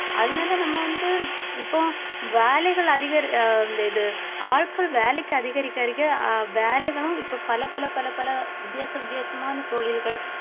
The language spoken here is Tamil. அதனால நம்ம வந்து இப்போ வேலைகள் அதிகரி~ அஹ் இந்த இது ஆட்கள் வேலைக்கு அதிகரிக்க ~கரிக்க அஹ் வேலைகளும் இப்ப பலப்பல பலப்பல வித்தியாச வித்தியாசமான தொழில்கள்